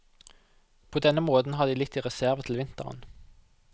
På denne måten har de litt i reserve til vinteren.